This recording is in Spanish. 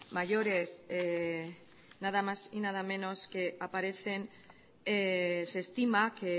mayores nada más y nada menos que aparecen se estima que